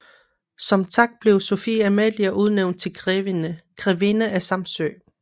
Som tak blev Sophie Amalie udnævnt til grevinde af Samsø